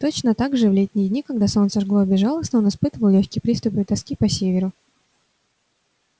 точно так же в летние дни когда солнце жгло безжалостно он испытывал лёгкий приступ тоски по северу